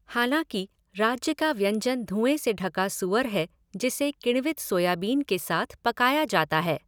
हालाँकि, राज्य का व्यंजन धुएँ से ढका सूअर है जिसे किण्वित सोयाबीन के साथ पकाया जाता है।